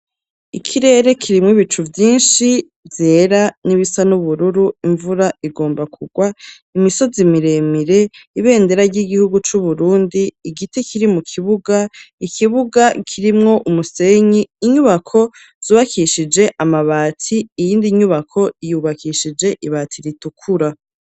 Ikirere kirimwo ibicu vyinshi, vyera n'ibisa n'ubururu, imvura igomba kugwa, imisozi miremire ,ibendera ry'igihugu c'Uburundi, igiti kiri mu kibuga, ikibuga kirimwo umusenyi, inyubako zubakishije amabati, iyindi nyubako yubakishije ibati ritukura.